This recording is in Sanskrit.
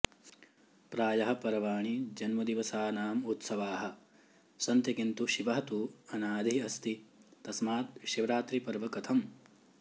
प्रायः पर्वाणि जन्मदिवसानाम् उत्सवाः सन्ति किन्तु शिवः तु अनादि अस्ति तस्मात् शिवरात्रिपर्व कथम्